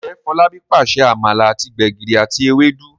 Njé Folabi pàṣẹ amala àti gbegiri àti Ewédú?